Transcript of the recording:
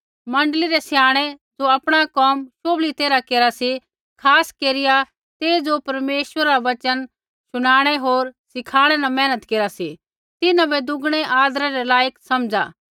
मण्डली रै स्याणै ज़ो आपणा कोम शोभली तैरहा केरा सी खास केरिया ते ज़ो परमेश्वरा रा वचन शुनाणै होर सिखाणै न मेहनत केरा सी तिन्हां बै दुगणै आदरै रै लायक समझ़ा